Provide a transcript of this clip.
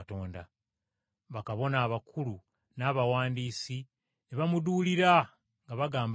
Bakabona abakulu n’abawandiisi, n’abakulembeze abalala ne bamuduulira, nga bagamba nti,